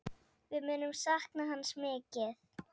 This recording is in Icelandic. Við munum sakna hans mikið.